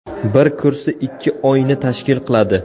Bir kursi ikki oyni tashkil qiladi.